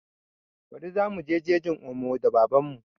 Baɗi za muje jejin omo da baban mu